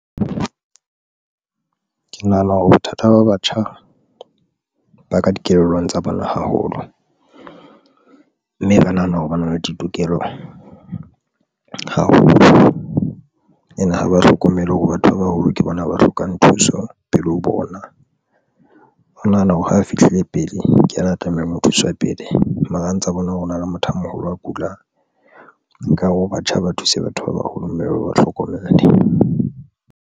Ke nahana hore bothata ba batjha ba ka dikelellong tsa bona haholo, mme ba nahana hore ba na le ditokelo haholo and ha ba hlokomele hore batho ba baholo ke bona ba hlokang thuso pele ho bona. O nahana hore ha a fihlile pele ke yena a tlamehang ho thuswe pele mara a ntse a bona hore ho na le motho a moholo a kula, nkare ho batjha ba thuse batho ba baholo, mme ba ba hlokomele.